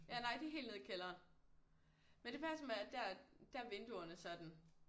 Ja nej det er helt nede i kælderen men det passer med at der der vinduerne sådan